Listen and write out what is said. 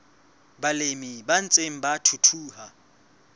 balemi ba ntseng ba thuthuha